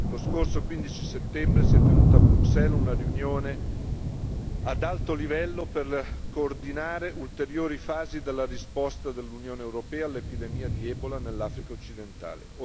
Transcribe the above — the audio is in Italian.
Lo scorso 15 settembre si è tenuta a Bruxelles una riunione ad alto livello per coordinare ulteriori fasi della risposta dell'UE all'epidemia di Ebola nell'Africa occidentale.